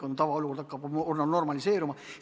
Tavaolukord hakkab taastuma, olukord hakkab normaliseeruma.